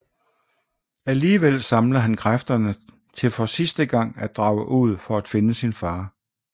Alligevel samler han kræfterne til for sidste gang at drage ud for at finde sin far